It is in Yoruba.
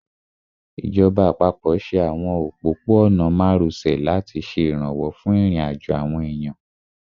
Ìjọba àpapọ̀ ṣe àwọn òpópó-ọ̀nà márosẹ̀ láti ṣe ìrànwọ́ fún ìrìnàjò àwọn èèyàn